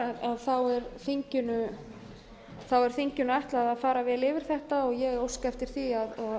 ætlun er er þinginu ætlað að fara vel yfir þetta ég óska eftir því að